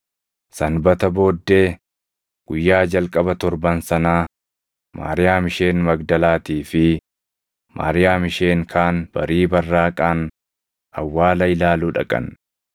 Sanbata booddee, guyyaa jalqaba torban sanaa Maariyaam isheen Magdalaatii fi Maariyaam isheen kaan barii barraaqaan awwaala ilaaluu dhaqan.